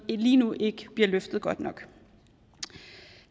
lige nu ikke bliver løftet godt nok